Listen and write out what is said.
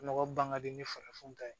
Mɔgɔ ban ka di ni farafin ta ye